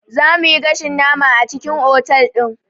Za muyi gashin nama a cikin otal ɗin